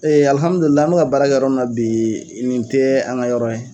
an bɛ ka baara kɛ yɔrɔ min na bi nin tɛ an ŋa yɔrɔ ye